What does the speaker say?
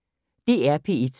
DR P1